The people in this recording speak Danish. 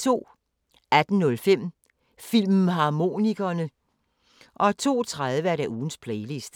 18:05: Filmharmonikerne 02:30: Ugens Playliste